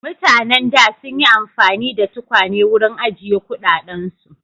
Mutanen da sun yi amfani da tukwane wurin ajiye kuɗaɗensu.